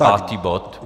Pátý bod.